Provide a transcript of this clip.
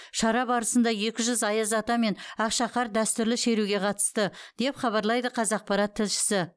шара барысында екі жүз аяз ата мен ақшақар дәстүрлі шеруге қатысты деп хабарлайды қазақпарат тілшісі